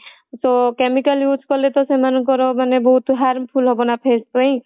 ତ chemical use କଲେ ତ ସେମାନଙ୍କର ମାନେ ବହୁତ harmful ହବ ନା face ପାଇଁ